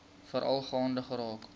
veral gaande geraak